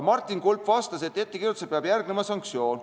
Martin Kulp vastas, et ettekirjutusele peab järgnema sanktsioon.